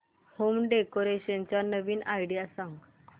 home decoration च्या नवीन idea सांग